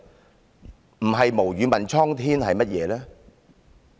這不是"無語問蒼天"又是甚麼呢？